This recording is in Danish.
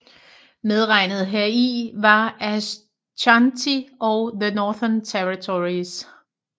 Medregnet heri var Aschanti og The Northern Territories